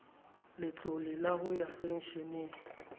letlole la ho ya pensheneng